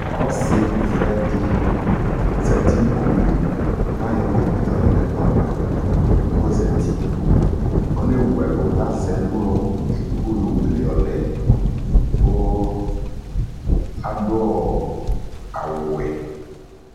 ɔsɛ vɛɛdɛ zati nikpokuli kaʒɔ computer yɔlɛ nɛkplɔava kozati ɔnewuɛlu lazɛ ɛlu edigbo yowu yɔlɛ kuu aduɔɔ awu wɛ